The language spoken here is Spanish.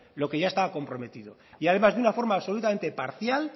lo que ya estaba comprometido y además de una forma absolutamente parcial